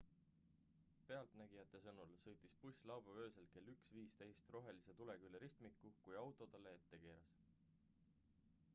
pealtnägijate sõnul sõitis buss laupäeva öösel kell 1.15 rohelise tulega üle ristmiku kui auto sellele ette keeras